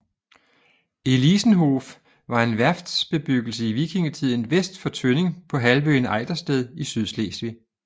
Elisenhof var en værftbebyggelse i vikingetiden vest for Tønning på halvøen Ejdersted i Sydslesvig